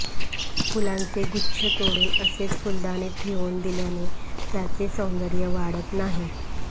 फुलांचे गुच्छ तोडून असेच फुलदाणीत ठेवून दिल्याने त्याचे सौंदर्य वाढत नाही